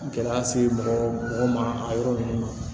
Gɛlɛya se mɔgɔ mɔgɔ ma a yɔrɔ ninnu na